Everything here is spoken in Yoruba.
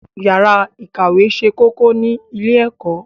Yàrá ìkàwé ṣe kókó ní ilé-ẹ̀kọ́.